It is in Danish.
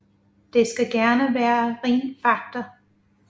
Det skal gerne være ren fakta